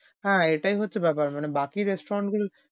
হ্যাঁ, এটাই হচ্ছে বেপার মানে বাকি restaurant গুলো,